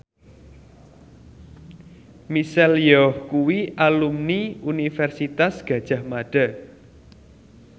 Michelle Yeoh kuwi alumni Universitas Gadjah Mada